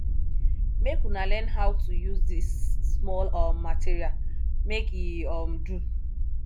make una learn how to use di small um material make e um do